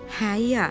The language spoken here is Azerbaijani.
Hə, İya.